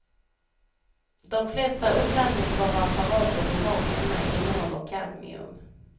De flesta uppladdningsbara apparater vi har hemma innehåller kadmium.